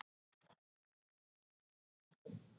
Lítur á mig allt að því biðjandi augnaráði.